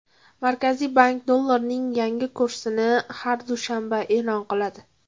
Markaziy bank dollarning yangi kursini har dushanba e’lon qiladi.